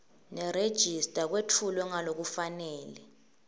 nerejista kwetfulwe ngalokufanele